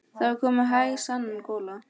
Það var komin hæg sunnan gola.